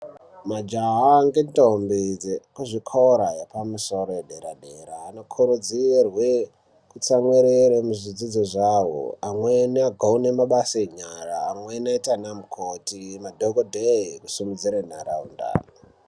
Majaha ngentombi dzekuzvikora yepamusoro yedera dera anokurudzirwe kutsamwirire muzvidzidzo zvawo amweni agone mabasa enyara amweni oita anamukoti madhokodheye kusimudzire nharaunda.